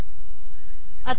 आता हे पहा